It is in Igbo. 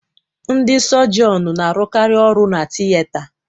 Ndị sọgionu n'arukari ọrụ na-tiyeta